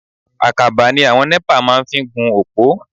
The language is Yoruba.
Àkàbà ni àwọn NEPA máa ń fi ń gun òpó.